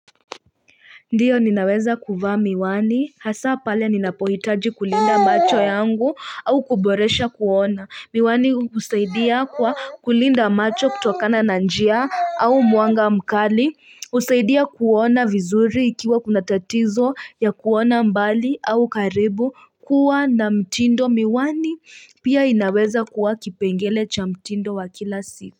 Ndiyo ninaweza kuvaa miwani hasa pale ninapohitaji kulinda macho yangu au kuboresha kuona. Miwani husaidia kwa kulinda macho kutokana na njia au mwanga mkali husaidia kuona vizuri ikiwa kuna tatizo ya kuona mbali au karibu kuwa na mtindo. Miwani pia inaweza kuwa kipengele cha mtindo wa kila siku.